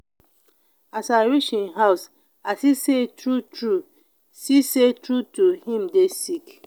as i reach im house i see sey true-true see sey true-true im dey sick